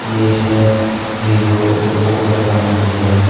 ये इसमें Vivo Oppo के फोन भी है।